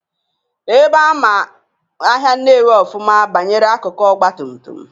Ebe ama ahịa Nnewi ọfụma banyere akụkụ ọgbatumtum,